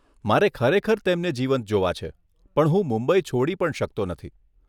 મારે ખરેખર તેમને જીવંત જોવા છે, પણ હું મુંબઈ છોડી પણ શકતો નથી.